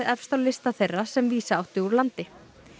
efst á lista þeirra sem vísa átti úr landi